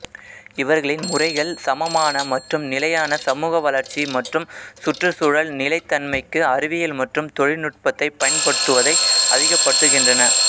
இவர்களின் முறைகள் சமமான மற்றும் நிலையான சமூக வளர்ச்சி மற்றும் சுற்றுச்சூழல் நிலைத்தன்மைக்கு அறிவியல் மற்றும் தொழில்நுட்பத்தைப் பயன்படுத்துவதை அதிகப்படுத்துகின்றன